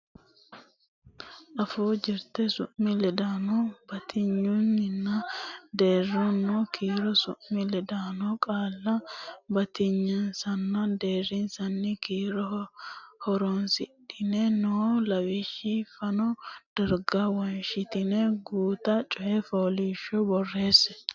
Afuu Jirte Su mi ledaano Batinyisaanonna Deerrisaano Kiiro Su mi ledaano qaalla batinyisaanonna deerrisaano kiiro horonsidhine noo lawishshi fano darga wonshitine guuta coy fooliishsho borreesse.